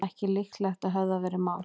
Ekki líklegt að höfðað verði mál